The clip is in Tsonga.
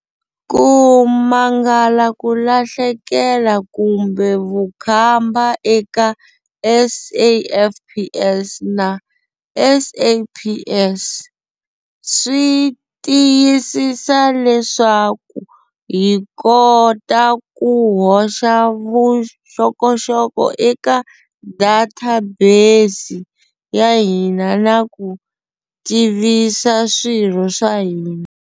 Ku mangala ku lahleka kumbe vukhamba eka SAFPS na SAPS swi tiyisisa leswaku hi kota ku hoxa vuxokoxoko eka databesi ya hina na ku tivisa swirho swa hina.